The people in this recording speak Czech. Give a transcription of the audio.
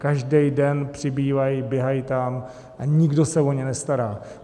Každý den přibývají, běhají tam a nikdo se o ně nestará.